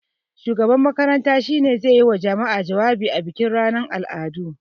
Shugaban makarantar shi ne zai yi wa jama'a jawabi a bikin ranar al'adu.